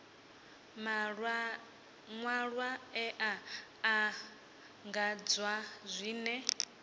maṅwalwa e a anḓadzwa zwine